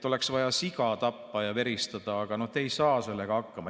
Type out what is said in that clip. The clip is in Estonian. Oleks vaja siga tappa ja veristada, aga te ei saa sellega hakkama.